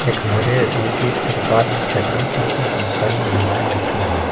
एक हरे रंग की तिरपाल और चटाई के ऊपर बहुत सारी महिलाएं बैठी है।